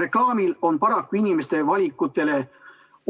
Reklaamil on paraku inimeste valikutele